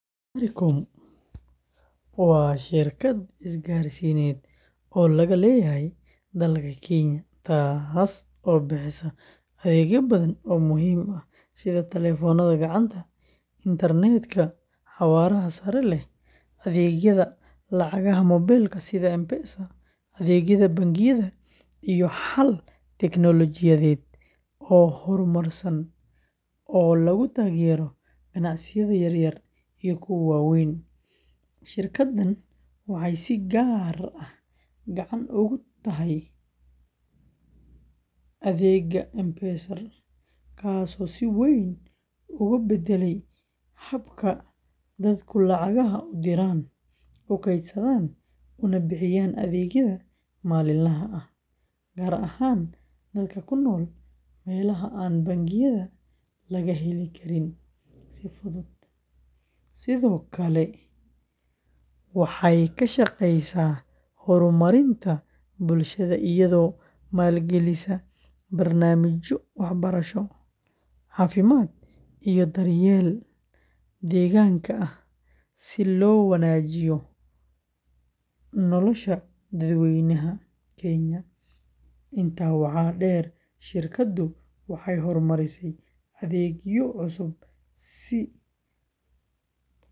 Safaricom waa shirkad isgaarsiineed oo laga leeyahay dalka Kenya, taas oo bixisa adeegyo badan oo muhiim ah sida taleefannada gacanta, internet-ka xawaaraha sare leh, adeegyada lacagaha moobilka sida M-Pesa, adeegyada bangiyada, iyo xalal teknoolojiyadeed oo horumarsan oo lagu taageerayo ganacsiyada yaryar iyo kuwa waaweyn. Shirkaddan waxay si gaar ah caan ugu tahay adeegga M-Pesa, kaas oo si weyn uga beddelay habka dadku lacagaha u diraan, u kaydsadaan, una bixiyaan adeegyada maalinlaha ah, gaar ahaan dadka ku nool meelaha aan bangiyada laga heli karin si fudud, sidoo kale waxay ka shaqaysaa horumarinta bulshada iyadoo maalgelisa barnaamijyo waxbarasho, caafimaad, iyo daryeelka deegaanka ah si loo wanaajiyo nolosha dadweynaha Kenya. Intaa waxaa dheer, shirkaddu waxay horumarisay adeegyo cusub.